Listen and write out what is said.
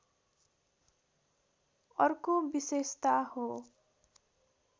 अर्को विशेषता हो